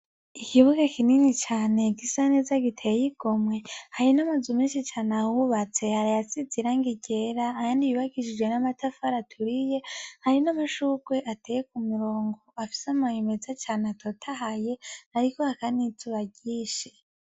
Ikibuga kinini cane gisa neza giteyi igomwe hari meshi can ahubatse hari ayasize irangi ryera ayandi yubakishije na matafara aturiye .hari na mashukwe ateye kumirongo afisa amababi meza cane atotahaye hariko haka nizuba ryinshi.